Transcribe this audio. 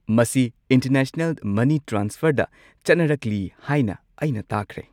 ꯃꯁꯤ ꯏꯟꯇꯔꯅꯦꯁꯅꯦꯜ ꯃꯅꯤ ꯇ꯭ꯔꯥꯟꯁꯐꯔꯗ ꯆꯠꯅꯔꯛꯂꯤ ꯍꯥꯏꯅ ꯑꯩꯅ ꯇꯥꯈ꯭ꯔꯦ꯫